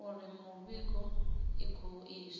uri mivhigo i khou iswa